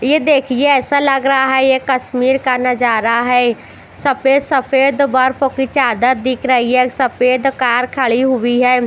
ये देखिये ऐसा लग रहा है ये कश्मीर का नजारा है सफ़ेद सफ़ेद बरफ की चादर दिख रही है सफ़ेद कार खरी हुई है --